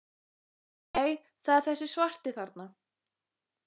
Nei, það er þessi svarti þarna!